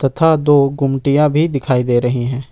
तथा दो गुमटियां भी दिखाई दे रही हैं।